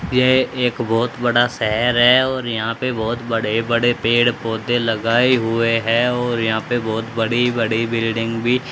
यह एक बहोत बड़ा शहर है और यहां पे बहोत बड़े बड़े पेड़ पौधे लगाए हुए हैं और यहां पे बहुत बड़ी बड़ी बिल्डिंग भी--